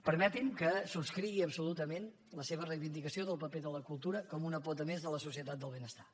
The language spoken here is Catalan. permeti’m que subscrigui absolutament la seva reivindicació del paper de la cultura com una pota més de la societat del benestar